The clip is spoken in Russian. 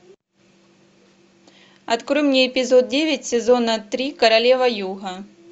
открой мне эпизод девять сезона три королева юга